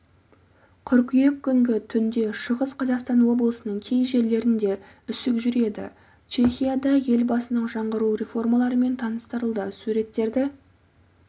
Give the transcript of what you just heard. қыркүйек күні түнде шығыс қазақстан облысының кей жерлерінде үсік жүреді чехияда елбасының жаңғыру реформаларымен таныстырылды суреттерді